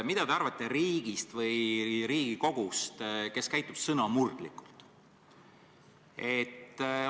Mida te arvate riigist või Riigikogust, kes käitub sõnamurdlikult?